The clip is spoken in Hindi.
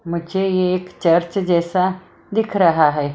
मुझे ये एक चर्च जैसा दिख रहा है।